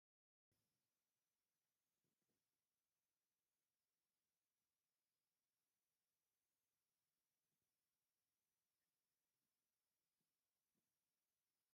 ካብ ዕንጨይቲ ዝተሰርሐ ሞቀጫ ይርአ ኣሎ፡፡ እዚ መቆጫ ናይ ሕድ ገዛ ንብረት እዩ ክበሃል ይኽእል እዩ፡፡ እዚ ንብረት ንምንታይ ይጠቅም?